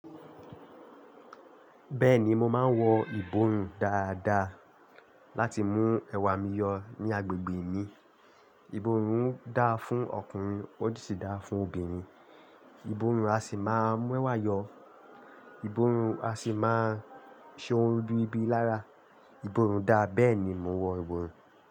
Bẹ́ẹ̀ni mo máa ń wọ ìborùn dáadáa láti mú ẹwà mi yọ ní agbègbè mi. Ìbòrùn dà á fún ọkùnrin ó sì dà á fún obìnrin. Ìbòrùn á sì máa mú ẹwà yọ. Ìbòrùn á sì máa ṣe ohun rìbíribi lára. Ìbòrùn dà á, bẹ́ẹ̀ ni mo wọ ìbòrùn.